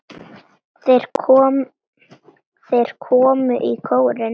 Þeir komu í kórinn.